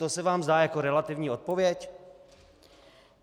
To se vám zdá jako relativní odpověď?